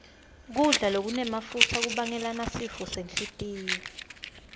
kudla lokunemafutsa kubangela sifo senhlitiyo